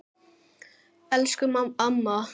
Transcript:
Elsku amma!